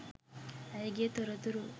ඇයගේ තොරතුරු